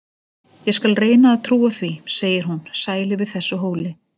Ég skal reyna að trúa því, segir hún, sæl yfir þessu hóli.